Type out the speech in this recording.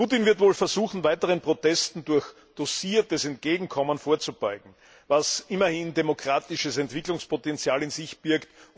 Putin wird wohl versuchen, weiteren Protesten durch dosiertes Entgegenkommen vorzubeugen, was immerhin demokratisches Entwicklungspotenzial in sich birgt.